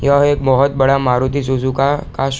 यह एक बहुत बड़ा मारुति सुजुकी ।